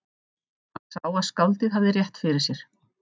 Hann sá að skáldið hafði rétt fyrir sér.